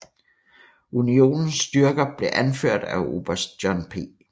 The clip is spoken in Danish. Unionens styrker blev anført af oberst John P